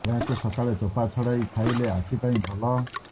ଏହାକୁ ସକାଳେ ଚୋପା ଛଡେଇ ଖାଇଲେ ଆଖି ପାଇଁ ଭଲ